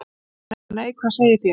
THEODÓRA: Nei, hvað segið þér?